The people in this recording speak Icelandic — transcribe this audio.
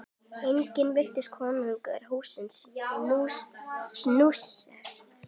Einnig virtist konungi húsið snúast.